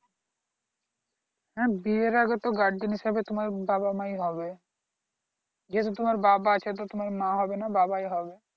হ্যাঁ বিয়ের আগে তো gurgen হিসাবে তোমার বাবা মাই হবে যদি তোমার বাবা আছে তো তোমার মা হবে না বাবাই হবে